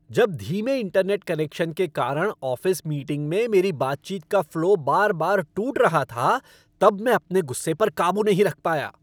जब धीमे internet connection के कारण ऑफ़िस मीटिंग में मेरी बातचीत का फ़्लो बार बार टूट रहा था तब मैं अपने गुस्से पर काबू नहीं रख पाया।